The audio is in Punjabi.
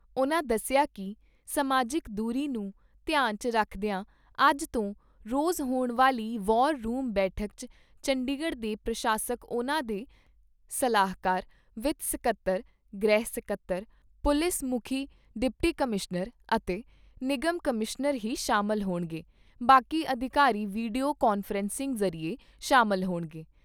ਉਨ੍ਹਾਂ ਦੱਸਿਆ ਕਿ ਸਮਾਜਿਕ ਦੂਰੀ ਨੂੰ ਧਿਆਨ 'ਚ ਰਖਦਿਆਂ ਅੱਜ ਤੋਂ ਰੋਜ਼ ਹੋਣ ਵਾਲੀ ਵਾਰ ਰੂਮ ਬੈਠਕ 'ਚ ਚੰਡੀਗੜ੍ਹ ਦੇ ਪ੍ਰਸ਼ਾਸਕ ਉਨ੍ਹਾਂ ਦੇ ਸਲਾਹਕਾਰ ਵਿੱਤ ਸਕੱਤਰ, ਗ੍ਰਹਿ ਸਕੱਤਰ, ਪੁਲਿਸ ਮੁੱਖੀ ਡਿਪਟੀ ਕਮਿਸ਼ਨਰ ਅਤੇ ਨਿਗਮ ਕਮਿਸ਼ਨਰ ਹੀ ਸ਼ਾਮਲ ਹੋਣਗੇ ਬਾਕੀ ਅਧਿਕਾਰੀ ਵੀਡੀਓ ਕਾਨਫਰੰਸਿੰਗ ਜ਼ਰੀਏ ਸ਼ਾਮਲ ਹੋਣਗੇ।